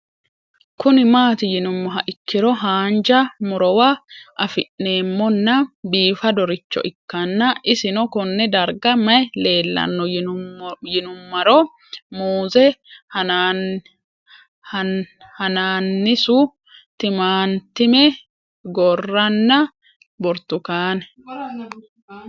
Kuni mati yinumoha ikiro hanja murowa afine'mona bifadoricho ikana isino Kone darga mayi leelanno yinumaro muuze hanannisu timantime gooranna buurtukaane